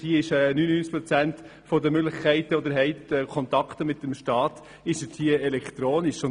Dort laufen 99 Prozent der Möglichkeiten, die man hat, um mit dem Staat Kontakt aufzunehmen, elektronisch ab.